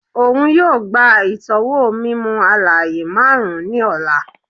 Oun yoo gba itọwo mimu-alaaye marun ni ọla